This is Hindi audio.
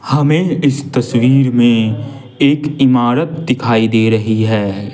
हमें इस तस्वीर में एक इमारत दिखाई दे रही है।